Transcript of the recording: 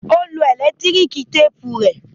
Ó lo ẹ̀lẹ́tíríkì téépù rẹ?